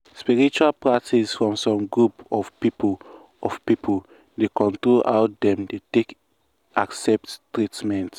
spiritual practice from some group of people of people dey control how dem take dey accept treatment.